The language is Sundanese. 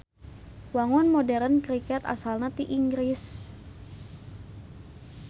Wangun moderen kriket asalna ti Inggris.